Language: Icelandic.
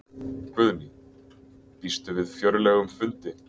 Guðný: Býstu við fjörlegum fundi?